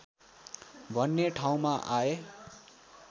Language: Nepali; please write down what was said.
भन्ने ठाउँमा आए